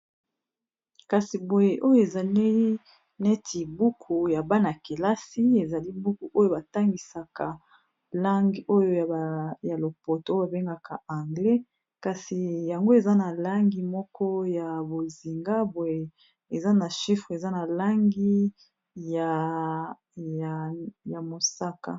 kasi boye oyo ezalii neti buku ya bana-kelasi ezali buku oyo batangisaka langue oyo ya lopotoo babengaka anglais kasi yango eza na langi moko ya bozinga boye eza na chifre eza na langi ya mosaka